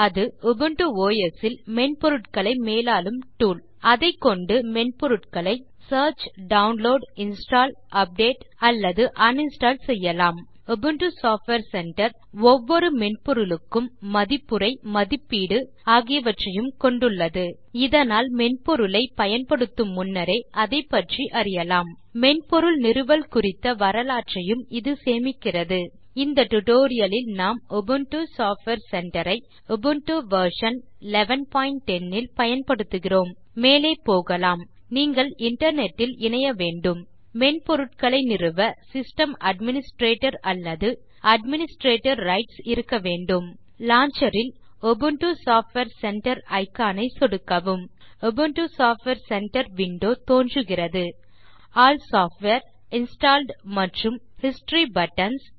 அது Ubuntu OS இல் மென்பொருட்களை மேலாளும் டூல் அதைக்கொண்டு மென்பொருட்களை சியர்ச் டவுன்லோட் இன்ஸ்டால் அப்டேட் அல்லது அன்இன்ஸ்டால் செய்யலாம் உபுண்டு சாஃப்ட்வேர் சென்டர் ஒவ்வொரு மென்பொருளுக்கும் மதிப்புரை மதிப்பீடு ஆகியவற்றையும் கொண்டுள்ளது இதனால் மென்பொருளை பயன்படுத்து முன்னரே அதைப்பற்றி அறியலாம் மென்பொருள் நிறுவல் குறித்த வரலாற்றையும் இது சேமிக்கிறது இந்த tutorialலில் நாம் உபுண்டு சாஃப்ட்வேர் சென்டர் ஐ உபுண்டு வெர்ஷன் 1110 இல் பயன்படுத்துகிறோம் மேலே போகலாம் நீங்கள் இன்டர்நெட் இல் இணைய வேண்டும் மென்பொருட்களை நிறுவ சிஸ்டம் அட்மினிஸ்ட்ரேட்டர் அலல்து அட்மினிஸ்ட்ரேட்டர் ரைட்ஸ் இருக்க வேண்டும் லான்ச்சர் இல் உபுண்டு சாஃப்ட்வேர் சென்டர் இக்கான் ஐ சொடுக்கவும் உபுண்டு சாஃப்ட்வேர் சென்டர் விண்டோ தோன்றுகிறது ஆல் சாஃப்ட்வேர் இன்ஸ்டால்ட் மற்றும் ஹிஸ்டரி பட்டன்ஸ்